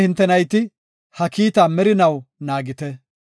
“Hintenne hinte nayti ha kiita merinaw naagite.